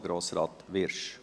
Es spricht Grossrat Wyrsch.